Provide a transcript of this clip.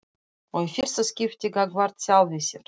Og í fyrsta skipti gagnvart sjálfri sér.